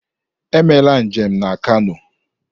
Emela njem na Kano!